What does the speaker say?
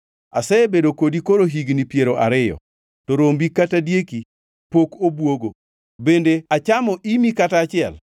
“Asebedo kodi koro higni piero ariyo, to rombi kata dieki pok obwogo bende achamo imi kata achiel.